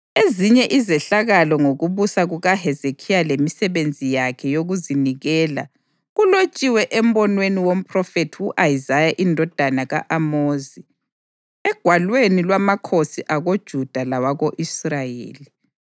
Ezinye izehlakalo ngokubusa kukaHezekhiya lemisebenzi yakhe yokuzinikela kulotshiwe embonweni womphrofethi u-Isaya indodana ka-Amozi egwalweni lwamakhosi akoJuda lawako-Israyeli.